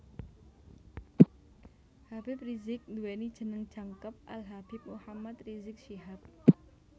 Habib Rizieq nduweni jeneng jangkep Al Habib Muhammad Rizieq Syihab